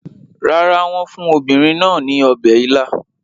Rárá, wọ́n fún obìnrin náà ní ọbẹ̀ ila.